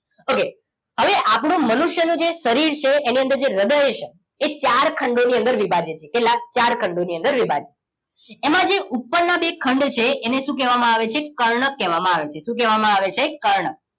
okay હવે આપણું મનુષ્ય નું જે શરીર છે એની અંદર જે હ્રદય છે એ ચાર ખંડો ની અંદર વિભાજીત છે લાગ ચાર ખંડો ની અંદર વિભાજીત છે એમાં ઉપર ના જે બે ખંડ છે એને શું કેવા માં આવે છે કર્ણક કેવા માં આવે છે શું કેવા માં આવે છે કર્ણક